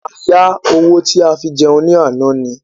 A yá owó tí a fi jẹun ní àná ni.